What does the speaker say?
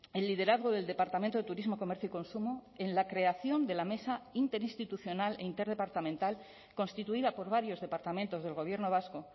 el liderazgo del departamento de turismo comercio y consumo en la creación de la mesa interinstitucional e interdepartamental constituida por varios departamentos del gobierno vasco